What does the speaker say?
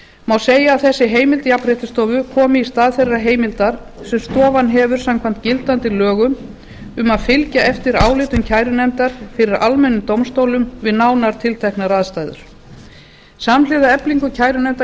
má segja að þessi heimild jafnréttisstofu komi í stað þeirrar heimildar sem stofan hefur samkvæmt gildandi lögum um að fylgja eftir álitum kærunefndar fyrir almennum dómstólum við nánar tilteknar aðstæður ellefu núll sjö þrjátíu og fimm samhliða eflingu kærunefnda